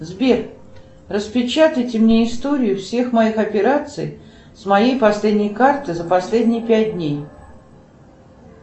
сбер распечатайте мне историю всех моих операций с моей последней карты за последние пять дней